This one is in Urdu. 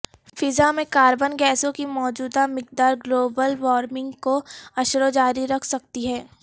فضا میں کاربن گیسوں کی موجودہ مقدار گلوبل وارمنگ کو عشروں جاری رکھ سکتی ہے